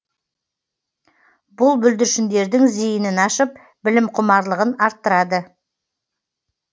бұл бүлдіршіндердің зейінін ашып білімқұмарлығын арттырады